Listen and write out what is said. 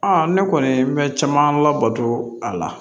ne kɔni bɛ caman labato a la